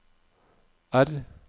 R